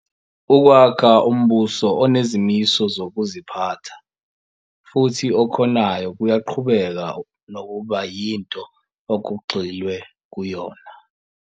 Ukwakha umbuso onezimiso zokuziphatha, futhi okhonayo kuyaqhubeka nokuba yinto okugxilwe kuyona.